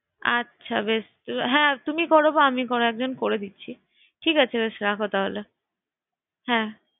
আচ্ছা বেস হ্যাঁ তুমি করো বা আমি কোনো একজন করে দিচ্ছি ঠিক আছে বেশ রাখো তাহলে ঠিক আছে, রাখলাম হ্যাঁ